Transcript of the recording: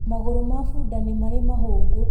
Magũrũ ma bunda nĩ marĩ mahũngũ